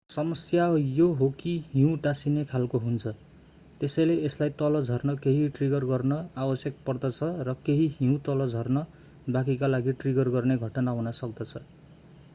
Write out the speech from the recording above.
समस्या यो हो कि हिउँ टाँसिने खालको हुन्छ त्यसैले यसलाई तल झर्न केही ट्रिगर गर्न आवश्यक पर्दछ र केही हिउँ तल झर्नु बाँकीका लागि ट्रिगर गर्ने घटना हुन सक्दछ